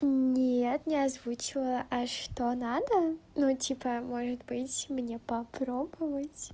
нет не озвучивала а что надо ну типа может быть мне попробовать